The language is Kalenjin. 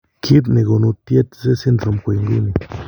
Kiit negonu Tietze syndrome ko inguni